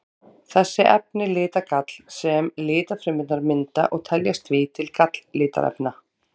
Þessi efni lita gall sem lifrarfrumurnar mynda og teljast því til galllitarefna.